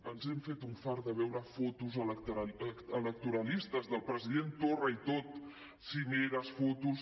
ens hem fet un fart de veure fotos electoralistes del president torra i tot cimeres fotos